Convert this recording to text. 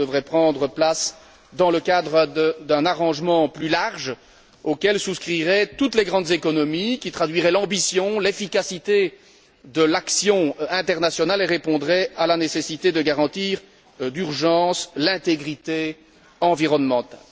Cela devrait prendre place dans le cadre d'un arrangement plus large auquel souscriraient toutes les grandes économies, qui traduirait l'ambition, l'efficacité de l'action internationale et répondrait à la nécessité de garantir d'urgence l'intégrité environnementale.